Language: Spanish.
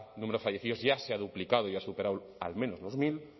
número de fallecidos ya se ha duplicado y ha superado al menos mil